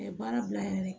Ɛɛ baara bila yɛrɛ